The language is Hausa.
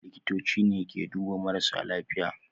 Likitoci ke duba marasa lafiya